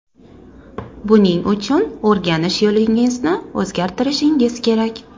Buning uchun, o‘rganish yo‘lingizni o‘zgartirishingiz kerak.